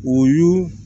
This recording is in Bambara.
O y'u